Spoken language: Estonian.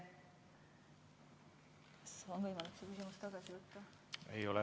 Kas on võimalik seda küsimust tagasi võtta?